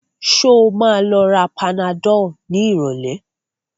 Sọ ma lọ ra panadol ní ìrọ̀lẹ́?